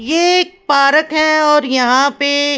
ये एक पारक है और यहां पे--